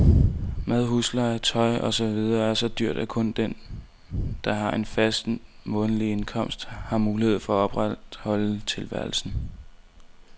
Mad, husleje, tøj og så videre er så dyrt, at kun den, der har en fast, månedlig indkomst, har mulighed for at opretholde tilværelsen.